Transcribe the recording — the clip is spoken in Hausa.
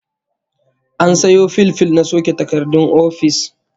An sayo fil fil na soke takardun ofis